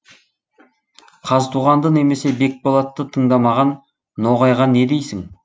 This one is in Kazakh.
қазтуғанды немесе бекболатты тыңдамаған ноғайға не дейсің